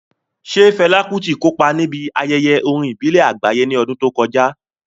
Ṣé Fela Kuti kópa níbi ayẹyẹ orin àgbáyé ní ọdún tó kọjá?